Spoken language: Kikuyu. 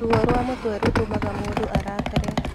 Ruo rwa mũtwe rũtumaga mũndũ arakare